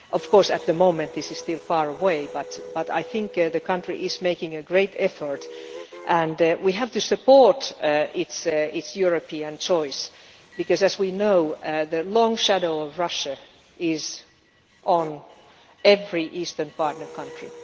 Of course, at the moment this is still far away, but I think the country is making a great effort and we have to support its European choice because, as we know, the long shadow of Russia is on every eastern partner country.